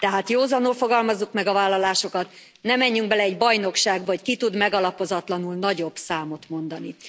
Tehát józanul fogalmazzuk meg a vállalásokat, ne menjünk bele egy bajnokságba, hogy ki tud megalapozatlanul nagyobb számot mondani.